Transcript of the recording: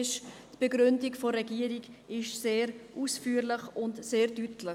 Die Begründung der Regierung ist sehr ausführlich und sehr deutlich.